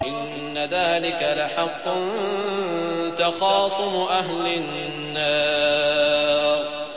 إِنَّ ذَٰلِكَ لَحَقٌّ تَخَاصُمُ أَهْلِ النَّارِ